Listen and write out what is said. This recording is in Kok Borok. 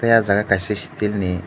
tei ojaga kaisa steel ni.